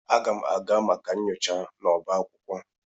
Aga m aga maka nyocha n'ọba akwụkwọ.